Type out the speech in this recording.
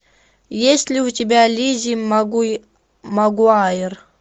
есть ли у тебя лиззи магуайр